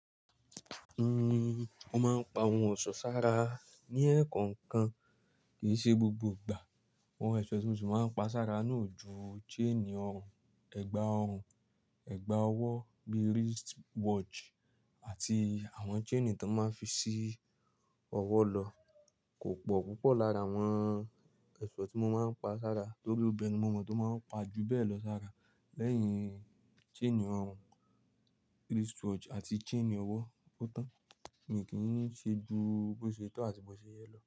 Uhm, mo máa ń pa ohun ọ̀ṣọ́ sára ní ẹ̀ẹ̀kọọ̀kan kì í ṣe gbogbo ìgbà. Àwọn ẹ̀ṣọ́ ti mo si máa ń pa sára náà o ju chain orùn, ẹ̀gbà orùn, ẹ̀gbà ọwọ́ bí i wristwatch àti àwọn chain tí wọ́n máa ń fi sí ọwọ́ lọ kò pọ̀ púpọ̀ lára àwọn ẹ̀ṣọ́ tí mo máa ń pa sára torí obìnrin ni mo mọ̀ tó máa ń pa ju bẹ́ẹ̀ lọ sára lẹ́yìn chain orùn, wristwatch àti chain ọwọ́. Ó tán, mi kì í ṣe ju bó ṣe tọ́ àti bó ṣe yẹ lọ.